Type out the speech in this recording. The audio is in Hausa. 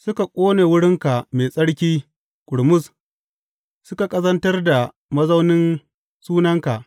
Suka ƙone wurinka mai tsarki ƙurmus; suka ƙazantar da mazaunin Sunanka.